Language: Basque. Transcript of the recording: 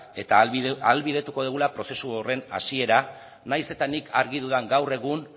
eta ahalbideratuko dugula prozesu horren hasiera nahiz eta nik argi dudan gaur egun